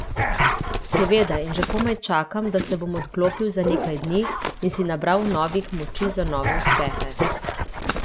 Seveda in že komaj čakam, da se bom odklopil za nekaj dni in si nabral novih moči za nove uspehe.